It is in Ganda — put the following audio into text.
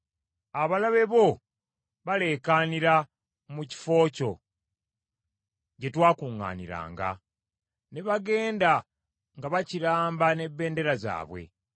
Abalabe bo baleekaanira mu kifo kyo gye twakuŋŋaaniranga; ne bagenda nga bakiramba n’ebendera zaabwe.